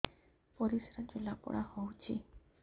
ପରିସ୍ରା ଜଳାପୋଡା ହଉଛି